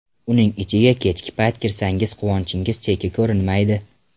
Uning ichiga kechgi payt kirsangiz quvonchingiz cheki ko‘rinmaydi.